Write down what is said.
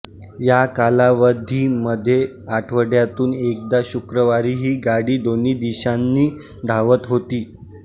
या कालावधीमध्ये आठवडयातून एकदा शुक्रवारी ही गाडी दोन्ही दिशांनी धावत होती